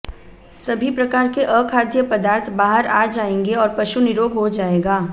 सभी प्रकार के अखाद्य पदार्थ बाहर आ जाएंगे और पशु निरोग हो जाएगा